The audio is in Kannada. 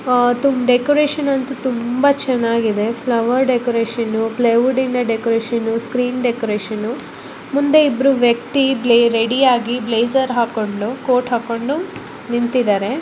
ಡೆಕೋರೇಷನ್ ಅಂತು ತುಂಬಾ ಚನ್ನಾಗಿದೆ flower decoration plywood decoration screen decoration ಮುಂದೆ ಇಬ್ಬರು ವ್ಯಕ್ತಿ ರೆಡಿ ಆಗಿ ಹಾಕೊಂಡು ಬ್ಲಜಿರ್ ಕೋರ್ಟ್ ಹಾಕೊಂಡು ನಿಂತಿದ್ದಾರೆ .